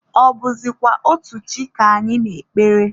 Ọ bụzịkwa otu chi ka anyị na-ekpere?